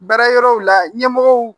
Baara yɔrɔw la ɲɛmɔgɔw